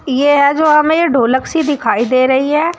ये है जो हमें ढोलक सी दिखाई दे रही है।